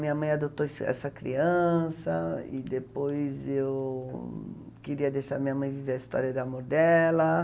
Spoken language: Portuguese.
Minha mãe adotou essa essa criança e depois eu queria deixar minha mãe viver a história de amor dela.